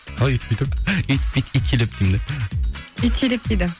қалай үйтіп бүйтіп үйтіп бүйтіп итшілеп деймін де итшілеп дейді